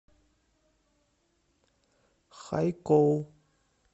хайкоу